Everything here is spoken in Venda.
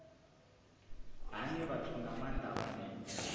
hani vhathu nga maanda vhane